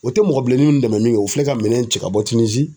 O tɛ mɔgɔ bilenni nun dɛmɛn min kɛ o filɛ ka minɛn cɛ ka bɔ tinizi.